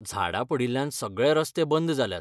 झाडां पडिल्ल्यान सगळे रस्ते बंद जाल्यात.